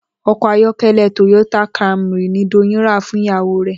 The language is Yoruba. O̩kò̩ ayó̩ké̩lé̩ Toyota Camry ni Doyin rà fún ìyàwó rè̩